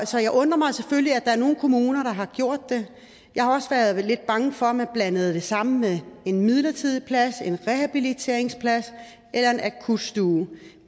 så jeg undrer mig selvfølgelig over at der er nogle kommuner der har gjort det jeg har også været lidt bange for at man blandede det sammen en midlertidig plads en rehabiliteringsplads eller en akutstue